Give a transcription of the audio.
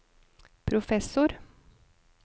professor